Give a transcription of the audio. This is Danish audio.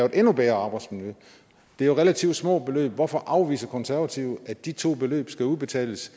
et endnu bedre arbejdsmiljø det er jo relativt små beløb hvorfor afviser konservative at de to beløb skal udbetales